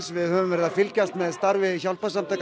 við höfum verið að fylgjast með starfi hjálparsamtaka